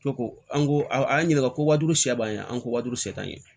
Ko ko an ko a y'an ɲininka ko wadu se b'an ye an ko wa duuru se t'an ye